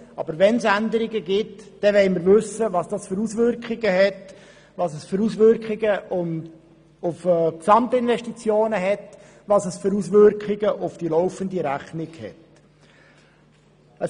Aber wenn es Änderungen gibt, wollen wir wissen, welche Auswirkungen sie auf die Gesamtinvestitionen und auf die laufende Rechnung haben.